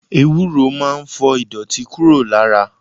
Ewúro máa ń fọ ìdọ̀tí kúrò lára.